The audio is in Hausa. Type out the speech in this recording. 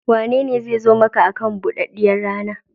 Waye zai zo maka akan buɗaɗɗiyar rana?